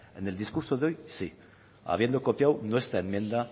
en el discurso de hoy sí habiendo copiado nuestra enmienda